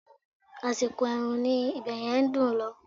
Àsìkò ẹ̀rùn ni ibẹ̀yẹn dùn ún lọ